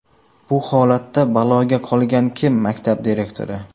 Bu holatda baloga qolgan kim maktab direktori.